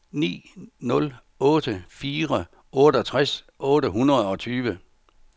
ni nul otte fire otteogtres otte hundrede og tyve